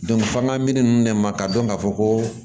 f'an ka minɛn ninnu ne ma k'a dɔn ka fɔ ko